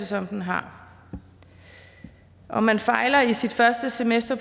som den har om man fejler i sit første semester